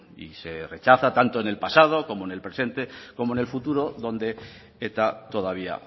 y se rechaza tanto en el pasado como en el presente como en el futuro donde eta todavía